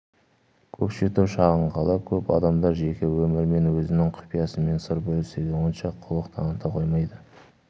көкшетау шағын қала көп адамдар жеке өмірімен өзінің құпиясымен сыр бөлісуге онша құлық таныта қоймайды